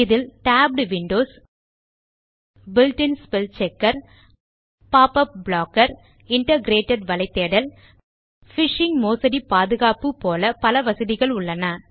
இதில் tabbed Windows built in spell check pop up blocker integrated வலைதேடல் phishing மோசடி பாதுகாப்பு போல பல வசதிகளுள்ளன